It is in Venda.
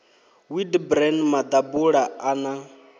wheat bran maḓabula a na